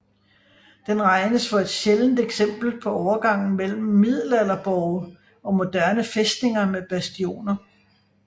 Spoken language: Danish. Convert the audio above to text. Den regnes for et sjældent eksempel på overgangen mellem middelalderborge og moderne fæstninger med bastioner